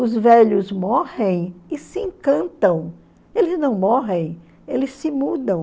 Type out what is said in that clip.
Os velhos morrem e se encantam, eles não morrem, eles se mudam.